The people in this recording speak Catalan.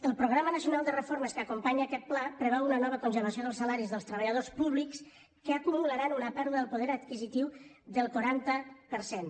el programa nacional de reformes que acompanya aquest pla preveu una nova congelació dels salaris dels treballadors públics que acumularan una pèrdua del poder adquisitiu del quaranta per cent